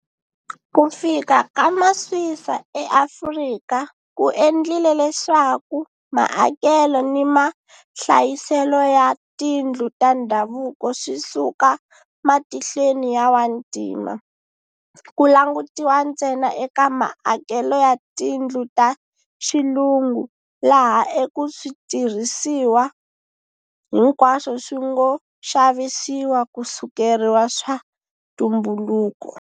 Ku fika ka Maswisa eAfrika ku endlile leswaku maakelo ni mahlayiselo ya tindlu ta ndhavuko swi suka matihlweni ya Wantima, ku langutiwa ntsena eka maakelo ya tindlu ta Xilungu laha eka switirhisiwa hinkwaswo swi ngo xavisiwa ku sukeriwa swa ntumbuluko.